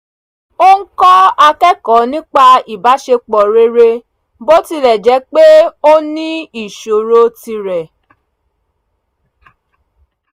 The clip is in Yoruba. ó ń kọ́ akẹ́kọ̀ọ́ nípa ìbáṣepọ̀ rere bó tilẹ̀ jẹ́ pé ó ní ìṣòro tirẹ̀